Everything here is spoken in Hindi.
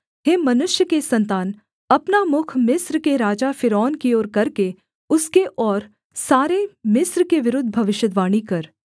हे मनुष्य के सन्तान अपना मुख मिस्र के राजा फ़िरौन की ओर करके उसके और सारे मिस्र के विरुद्ध भविष्यद्वाणी कर